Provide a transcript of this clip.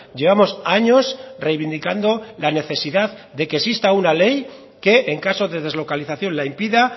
llevamos años reivindicando la necesidad de que exista una ley que en caso de deslocalización la impida